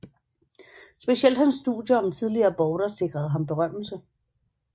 Specielt hans studier om tidlige aborter sikrede ham berømmelse